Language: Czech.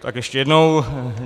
Tak ještě jednou.